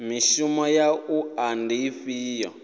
mishumo ya wua ndi ifhio